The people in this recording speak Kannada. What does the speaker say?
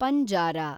ಪಂಜಾರಾ